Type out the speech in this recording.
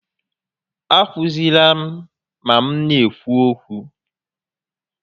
A kwụsịzịla m ma m n'ekwu okwu!